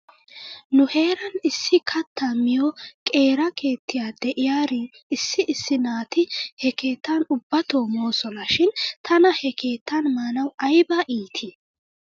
Nu heeran issi kattaa miyoo qeera keettiyaa de'iyaari issi issi naati he keettan ubbato moosona shin tana he keettan maanaw ayba iitii?